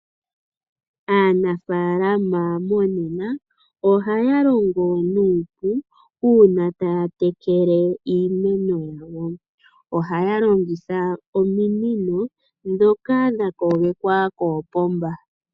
Aanafaalama monena ohaya longo nuupu uuna taya tekele iimeno yawo, ohaya longitha ominino dhoka dhakogekwa koopomba.